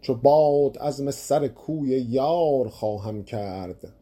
چو باد عزم سر کوی یار خواهم کرد